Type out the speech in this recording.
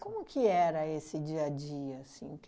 Como que era esse dia-a-dia, assim?